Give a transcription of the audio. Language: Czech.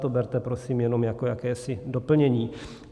To berte prosím jenom jako jakési doplnění.